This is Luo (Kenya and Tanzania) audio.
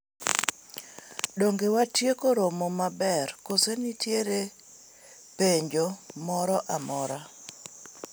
dong' watieko romo maber koso nitiere penjo moro amora ?